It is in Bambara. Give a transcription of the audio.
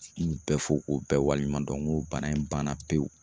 N b'u bɛɛ fɔ, ko bɛɛ waliɲumandon nko bana in banna pewu.